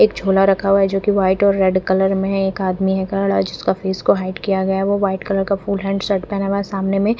एक झोला रखा हुआ है जोकि वाइट एंड रेड कलर में है एक आदमी है खड़ा जिसका फेस को हाईड किया गया है वो वाइट कलर का फुल हैण्ड शर्ट पहना है सामने में --